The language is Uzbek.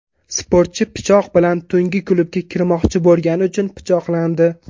Sportchi pichoq bilan tungi klubga kirmoqchi bo‘lgani uchun pichoqlandi.